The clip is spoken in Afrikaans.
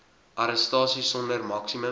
arrestasie sonder maksimum